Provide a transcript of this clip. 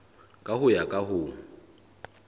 ka ho ya ka ho